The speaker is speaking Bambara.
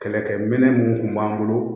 Kɛlɛkɛ minɛ mun kun b'an bolo